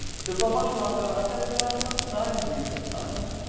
Eu estou apaixonado pela até pela faculdade mesmo, sabe?